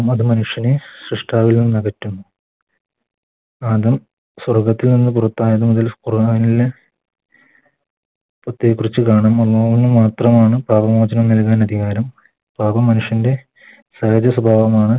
അത് മനുഷ്യനെ സൃഷ്ട്ടാവിൽ നിന്നകറ്റുന്നു പാപം സ്വർഗ്ഗത്തിൽ നിന്നും പുറത്താകും മാത്രമാണ് പാപ മോചനം നല്കാൻ അധികാരം പാപം മനുഷ്യൻറെ സ്വഭാവമാണ്